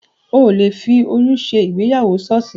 Ò le fi oyún ṣe ìgbéyàwó ṣọ́ọ̀ṣì